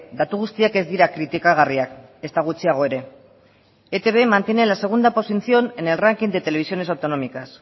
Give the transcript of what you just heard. datu guztiak ez dira kritikagarriak ezta gutxiago ere etb mantiene la segunda posición en el ranking de televisiones autonómicas